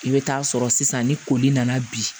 I bɛ taa sɔrɔ sisan ni koli nana bi